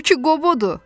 Bu ki Qobodu!